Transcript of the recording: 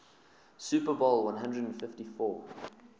super bowl xliv